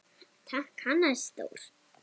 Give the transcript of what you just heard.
Takk, Hannes Þór.